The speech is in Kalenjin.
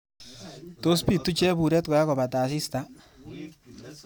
Tos pitu cheburet ngakopata asista?